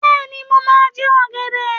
Bẹ́ẹ̀ni, mo máa jẹ ọ̀gẹ̀dẹ̀.